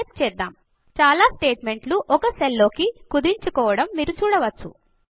అని టైప్ చేద్దాం చాలా స్టేట్మెంట్ లు ఒక సెల్ లోకి కుదించుకోవడం మీరు చూడవచ్చు